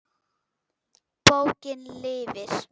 Bókin lifir!